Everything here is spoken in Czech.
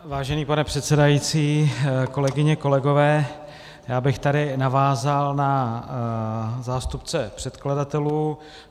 Vážený pane předsedající, kolegyně, kolegové, já bych tady navázal na zástupce předkladatelů.